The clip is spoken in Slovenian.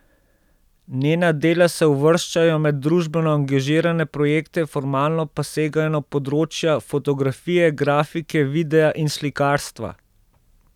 Njena dela se uvrščajo med družbeno angažirane projekte, formalno pa segajo na področja fotografije, grafike, videa in slikarstva.